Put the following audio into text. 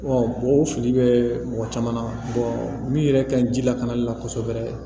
mɔgɔw fili bɛ mɔgɔ caman min yɛrɛ ka ɲi ji lakanali la kosɛbɛ